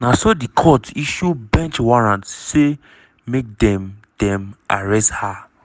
na so di court issue bench warrant say make dem dem arrest her.